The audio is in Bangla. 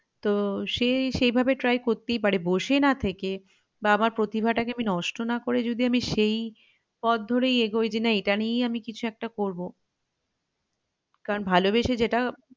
তো সে সেইভাবে try করতেই পারে বসে না থেকে বা আমার প্রতিভা টাকে আমি নষ্ট না করে যদি আমি সেই পথ ধরেই এগোই যে না এটা নিয়েই আমি কিছু একটা করবো কারন ভালোবেসে যেটা